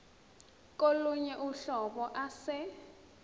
kolunye uhlobo ase